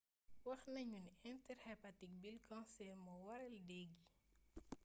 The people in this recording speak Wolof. waxnañu ni intrahepatic bile cancer mo waral déé gi